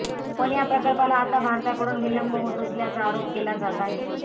पण या प्रकल्पाला आता भारताकडून विलंब होत असल्याचा आरोप केला जात आहे